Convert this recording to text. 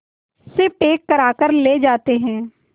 से पैक कराकर ले जाते हैं